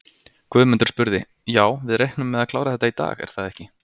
Guðmundur spurði: Já, við reiknum með að klára þetta í dag, er það ekki?